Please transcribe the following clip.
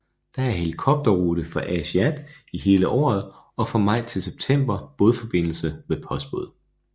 Der er helikopterrute fra Aasiaat hele året og fra maj til september bådforbindelse med postbåd